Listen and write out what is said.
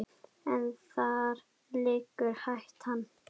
En þar liggur hættan.